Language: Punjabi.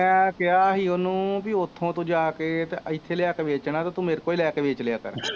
ਮੈਂ ਕਿਹਾ ਸੀ ਉਹਨੂੰ ਬਈ ਉੱਥੋਂ ਤੂੰ ਜਾ ਕੇ ਅਤੇ ਇੱਥੇ ਲਿਆ ਕੇ ਵੇਚਣਾ ਅਤੇ ਤੂੰ ਮੇਰੇ ਕੋਲੋਂ ਹੀ ਲੈ ਕੇ ਵੇਚ ਲਿਆ ਕਰ